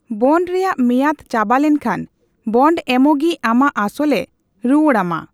Bond ᱨᱮᱭᱟᱜ ᱢᱮᱭᱟᱫᱽ ᱪᱟᱵᱟ ᱞᱮᱱᱠᱷᱟᱱ, ᱵᱚᱱᱰ ᱮᱢᱚᱜᱤᱡ ᱟᱢᱟᱜ ᱟᱥᱚᱞᱮ ᱨᱩᱣᱟᱹᱲ ᱟᱢᱟ ᱾